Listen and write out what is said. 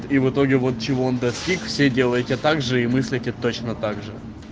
и в итоге вот чего он достиг все делаете также и мыслите точно также